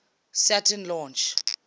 saturn launch